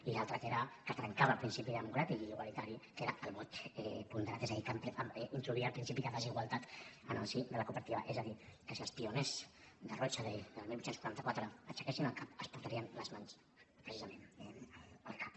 i l’altre que era que trencava el principi democràtic i igualitari que era el vot ponderat és a dir que introduïa el principi de desigualtat en el si de la cooperativa és a dir que si els pioners de rochdale del divuit quaranta quatre aixequessin el cap es portarien les mans precisament al cap